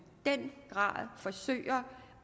den grad forsøger